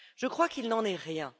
Je crois qu'il n'en est rien.